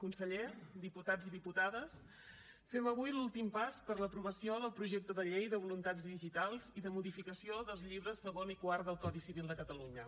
conseller diputats i diputades fem avui l’últim pas per a l’aprovació del projecte de llei de voluntats digitals i de modificació dels llibres segon i quart del codi civil de catalunya